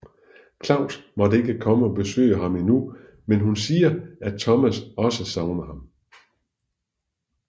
Claus må ikke komme og besøge ham endnu men hun siger at Thomas også savner ham